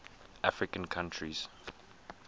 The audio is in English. african countries